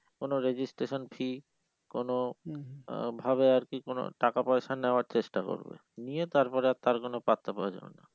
কোনো registration fee কোনো আহ ভাবে আর কি কোনো টাকা পয়সা নেওয়ার চেষ্টা করবে নিয়ে তার পরে তার আর কোনো পাত্তা পাওয়া যাবে না